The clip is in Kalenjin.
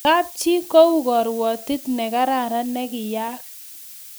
kap chii ko u karuatet ne kararan ni kiayak